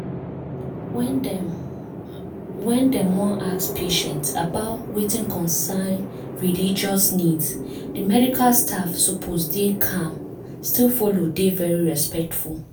when dem when dem wan ask patient about wetin concern religious needs di medical staff suppose dey calm still follow dey very respectful.